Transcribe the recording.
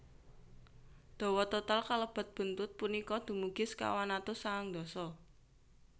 Dawa total kalebet buntut punika dumugi sekawan atus sangang dasa